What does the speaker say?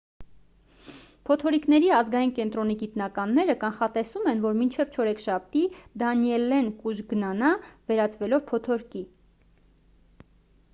փոթորիկների ազգային կենտրոնի գիտնականները կանխատեսում են որ մինչև չորեքշաբթի դանիելլեն կուժգնանա վերածվելով փոթորկի